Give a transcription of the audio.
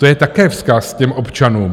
To je také vzkaz těm občanům.